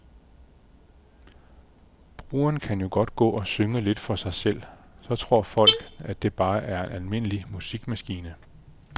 Brugeren kan jo godt gå og synge lidt for sig selv, så folk tror, at det bare er en almindelig musikmaskine.